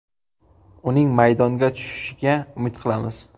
Uning maydonga tushishiga umid qilamiz.